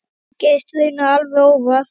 Það gerðist raunar alveg óvart.